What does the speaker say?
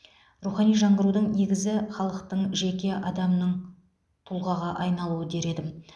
рухани жаңғырудың негізі халықтың жеке адамның тұлғаға айналуы дер едім